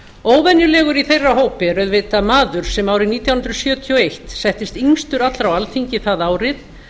óvenjulegur í þeirra hópi er auðvitað maður sem árið nítján hundruð sjötíu og eitt settist yngstur allra á alþingi það árið